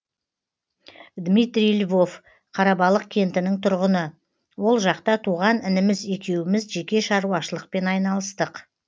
дмитрий львов қарабалық кентінің тұрғыны ол жақта туған інім екеуіміз жеке шаруашылықпен айналыстық